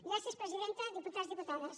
gràcies presidenta diputats diputades